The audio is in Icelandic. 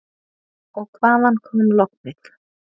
Og hvaðan kom lognið?